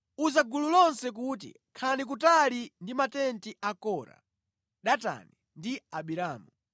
“Uza gulu lonse kuti, ‘Khalani kutali ndi matenti a Kora, Datani ndi Abiramu.’ ”